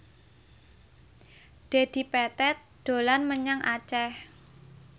Dedi Petet dolan menyang Aceh